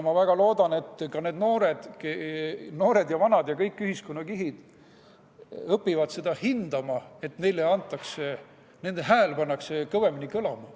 Ma väga loodan, et ka noored ja vanad ja kõik ühiskonnakihid õpivad seda hindama, et nende hääl pannakse kõvemini kõlama.